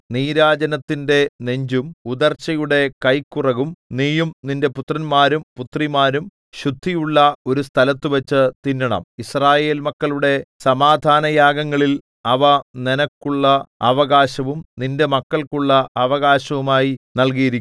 നീരാജനത്തിന്റെ നെഞ്ചും ഉദർച്ചയുടെ കൈക്കുറകും നീയും നിന്റെ പുത്രന്മാരും പുത്രിമാരും ശുദ്ധിയുള്ള ഒരു സ്ഥലത്തുവച്ചു തിന്നണം യിസ്രായേൽ മക്കളുടെ സമാധാനയാഗങ്ങളിൽ അവ നിനക്കുള്ള അവകാശവും നിന്റെ മക്കൾക്കുള്ള അവകാശവുമായി നല്കിയിരിക്കുന്നു